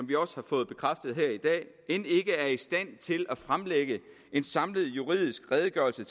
vi også har fået bekræftet her i dag end ikke er i stand til at fremlægge en samlet juridisk redegørelse